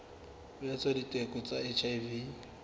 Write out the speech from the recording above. ho etsa diteko tsa hiv